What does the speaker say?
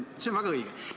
See on väga õige.